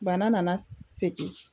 Bana nana segin